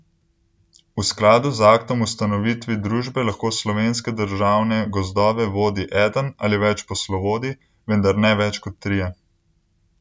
V skladu z aktom ustanovitvi družbe lahko Slovenske državne gozdove vodi eden ali več poslovodij, vendar ne več kot trije.